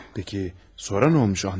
Bəs, sonra nə olub, Andrey?